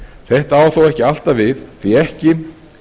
þetta á þó ekki alltaf við því ekki